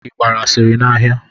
Ị gbara asịrị n'ahịa?